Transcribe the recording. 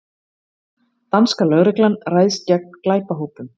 Danska lögreglan ræðst gegn glæpahópum